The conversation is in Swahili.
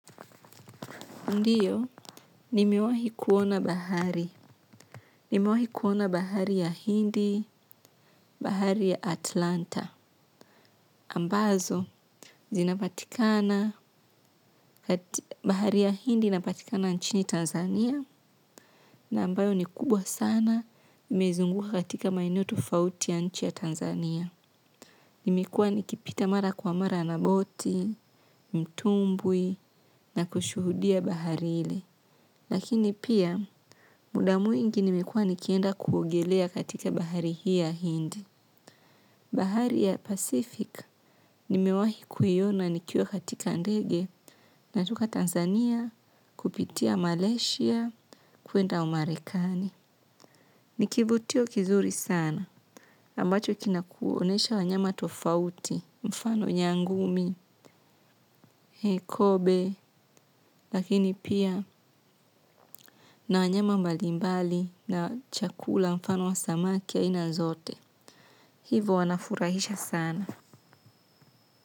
Ndiyo, nimewahi kuona bahari. Nimewahi kuona bahari ya Hindi, bahari ya Atlanta. Ambazo zinapatikana bahari ya Hindi inapatikana nchini Tanzania, na ambayo ni kubwa sana, imezunguka katika maeneo tofauti ya nchi ya Tanzania. Nimekuwa nikipita mara kwa mara na boti, mtumbwi na kushuhudia bahari ile. Lakini pia muda mwingi nimekuwa nikienda kuogelea katika bahari hii ya Hindi. Bahari ya Pacific nimewahi kuiona nikiwa katika ndege natoka Tanzania kupitia Malaysia kuenda Umarekani. Ni kivutio kizuri sana ambacho kina kuonyesha wanyama tofauti mfano nyangumi, hekobe. Lakini pia na wanyama mbali mbali na chakula mfano wa samaki aina zote. Hivo wanafurahisha sana.